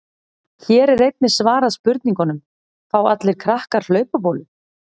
Hér er einnig svarað spurningunum: Fá allir krakkar hlaupabólu?